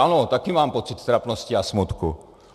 Ano, také mám pocit trapnosti a smutku.